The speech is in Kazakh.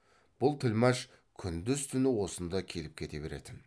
бұл тілмәш күндіз түні осында келіп кете беретін